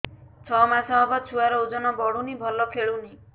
ଛଅ ମାସ ହବ ଛୁଆର ଓଜନ ବଢୁନି ଭଲ ଖେଳୁନି